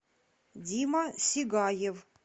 дима сигаев